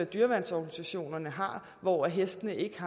dyreværnsorganisationerne har hvor hestene ikke har